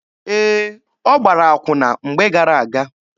Ee, ọ gbara akwụna mgbe gara-aga.